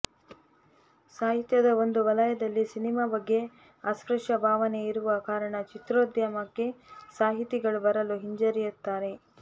ಸಾಹಿತ್ಯದ ಒಂದು ವಲಯದಲ್ಲಿ ಸಿನಿಮಾ ಬಗ್ಗೆ ಅಸ್ಪಶ್ಯ ಭಾವನೆ ಇರುವ ಕಾರಣ ಚಿತ್ರೋದ್ಯಮಕ್ಕೆ ಸಾಹಿತಿಗಳು ಬರಲು ಹಿಂಜರಿಯುತ್ತಾರೆ